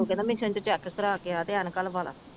check ਕਰਾ ਕੇ ਆ ਤੇ ਐਨਕਾਂ ਲਵਾ ਲਾ